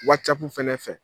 Wacapu fɛnɛ fɛ